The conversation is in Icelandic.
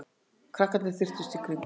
Krakkarnir þyrptust í kringum hana.